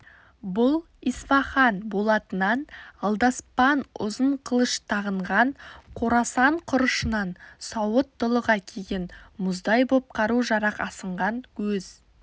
бұл исфаған болатынан алдаспан ұзын қылыш тағынған қорасан құрышынан сауыт-дулыға киген мұздай боп қару-жарақ асынған өз